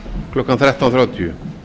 klukkan þrettán þrjátíu